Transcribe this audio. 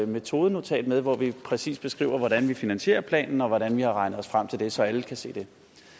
metodenotat med hvor vi præcist beskriver hvordan vi finansierer planen og hvordan vi har regnet os frem til det så alle kan se det